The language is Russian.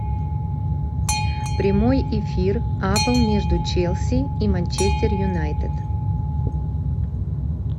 прямой эфир апл между челси и манчестер юнайтед